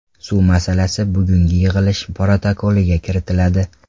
Suv masalasi bugungi yig‘ilish protokoliga kiritiladi.